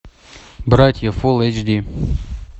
братья фулл эйч ди